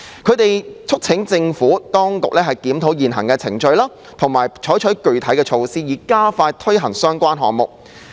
他們促請政府當局檢討現行程序，並採取具體措施，以加快推行相關項目。